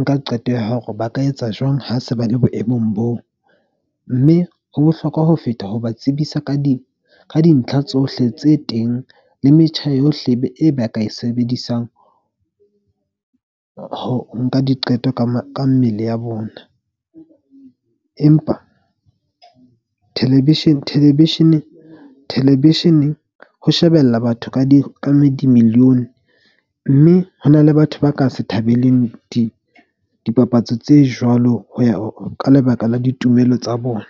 nka qeto ya hore ba ka etsa jwang ha se ba le boemong boo. Mme ho bohlokwa ho feta ho ba tsebisa ka di ka dintlha tsohle tse teng, le metjha yohle e be e ba ka e sebedisang ho nka diqeto ka mmele ya bona. Empa television-eng ho shebella batho ka di-million-e. Mme ho na le batho ba ka se thabeleng dipapatso tse jwalo ho ya ka lebaka la ditumelo tsa bona.